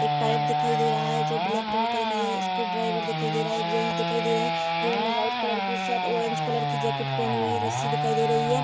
एक पाइप दिखाई दे रहा है जो ब्लेक कलर का दिखाई दे रहा है | स्क्रू-ड्राइवर दिखाई दे रहा है | एक जेन्ट्स दिखाई दे रहे हैं जिन्होंने व्हाइट कलर की शर्ट ऑरेंज कलर की जैकिट पहनी है रस्सी दिखाई दे रही है।